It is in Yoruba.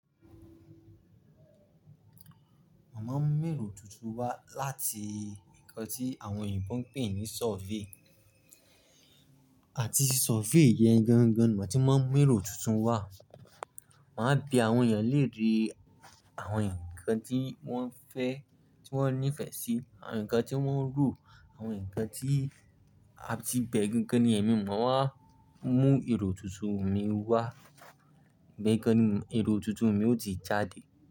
Mo ma ń mú èrò tuntun wá láti nǹkan tí àwọn ènìyàn tó ń pè ní survey. Àti survey yẹn gangan ni màá tí máa ń mú èrò tuntun wá. Màá bi àwọn ènìyàn léèrè àwọn nǹkan tí wọ́n fẹ́, tí wọ́n nífẹ̀ẹ́ sí, àwọn nǹkan tí wọ́n ń rò, àwọn nǹkan tí a ti bẹ̀ gángannu yẹn mi, màá wá mú èrò tuntun mi wá. Bẹ́ẹ̀ gánni èrò tuntun mi ó ti jáde.